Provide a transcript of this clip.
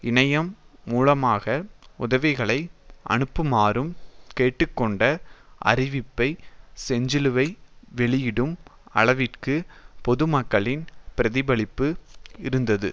இணையம் மூலமாக உதவிகளை அனுப்புமாறும் கேட்டு கொண்ட அறிவிப்பை செஞ்சிலுவை வெளியிடும் அளவிற்கு பொதுமக்களின் பிரதிபலிப்பு இருந்தது